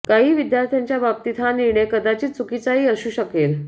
काही विद्यार्थ्यांच्या बाबतीत हा निर्णय कदाचित चुकीचाही असू शकेल